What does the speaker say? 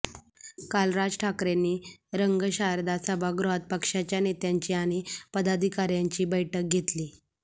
काल राज ठाकरेंनी रंगशारदा सभागृहात पक्षाच्या नेत्यांची आणि पदाधिकाऱ्यांची बैठक घेतली